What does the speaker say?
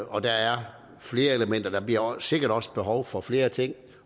og der er flere elementer og der bliver sikkert også behov for flere ting